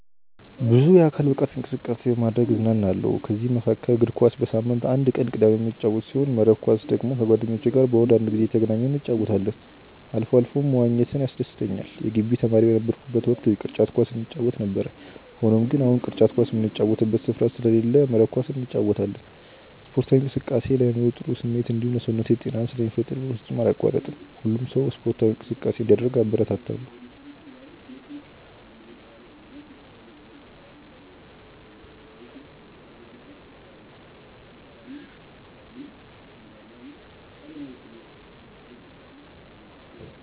ብዙ የአካል ብቃት እንቅስቃሴ በማድረግ እዝናናለሁ። ከዚህም መካከል እግር ኳስ በሳምንት አንድ ቀን ቅዳሜ የምጫወት ሲሆን መረብ ኳስ ደግሞ ከጓደኞቼ ጋር በወር አንድ ጊዜ እየተገናኘን እንጫወታለን አልፎ አልፎም መዋኘት ያስደስተኛል የግቢ ተማሪ በነበርኩበት ወቅት ቅርጫት ኳስ እንጫወት ነበር። ሆኖም ግን አሁን ቅርጫት ኳስ ምንጫወትበት ስፍራ ስለሌለ መረብ ኳስ እንጫወታለን። ስፖርታዊ እንቅስቃሴ ለአይምሮ ጥሩ ስሜት እንዲሁም ለሰውነቴ ጤናን ስለሚፈጥር በፍጹም አላቋርጥም። ሁሉም ሰው ስፖርታዊ እንቅስቃሴ እንዲያደርግ አበረታታለሁ።